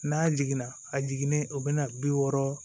N'a jiginna a jiginnen o bɛna bi wɔɔrɔ